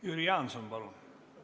Jüri Jaanson, palun!